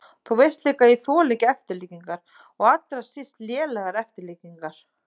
Þú veist líka að ég þoli ekki eftirlíkingar og allra síst lélegar eftirlíkingar.